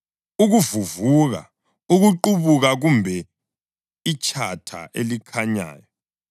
ukuvuvuka, ukuqubuka kumbe itshatha elikhanyayo,